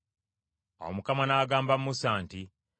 Awo Mukama n’agamba Musa nti,